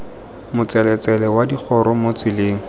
motseletsele wa digoro mo tseleng